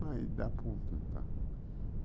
Mas dá para um tentar.